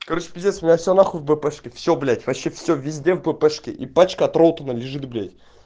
короче пиздец у меня все нахуй в бп-шке все блять вообще все везде в бп-шке и пачка от ролтона лежит блять